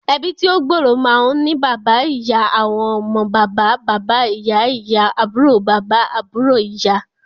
Ẹbí tí ó gbòòrò máa ń ní bàbà, ìyá, àwọn ọmọ, bàbà - baba ìyá-ìyá, àbúrò bàbà, àbúrò ìyá